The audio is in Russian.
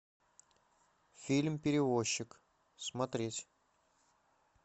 фильм перевозчик смотреть